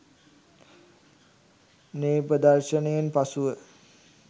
මේ ප්‍රදර්ශනයෙන් පසුව